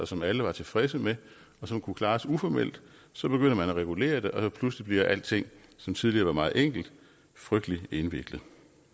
som alle var tilfredse med og som kunne klares uformelt så begynder man at regulere det og pludselig bliver alting som tidligere var meget enkelt frygtelig indviklet